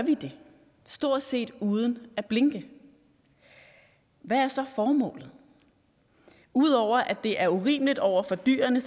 det stort set uden at blinke hvad er så formålet ud over at det er urimeligt over for dyrene